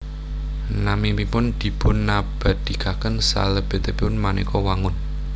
Naminipun dipunabadhikaken salebetipun manéka wangun